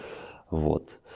вот